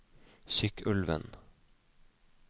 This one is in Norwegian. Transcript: Sykkylven